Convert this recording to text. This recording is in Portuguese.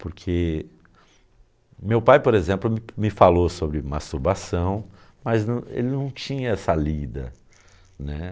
Porque meu pai, por exemplo, me me falou sobre masturbação, mas não ele não tinha essa lida.